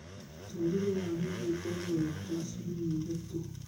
Mũtũrĩre wa nyũngũ ũkoragwo wĩta wa ciumia ithatũ